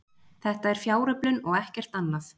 Þetta er fjáröflun og ekkert annað